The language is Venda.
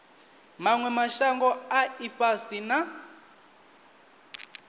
manwe mashango a ifhasi na